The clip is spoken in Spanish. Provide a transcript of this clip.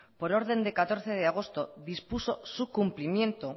por orden de catorce de agosto dispuso su cumplimiento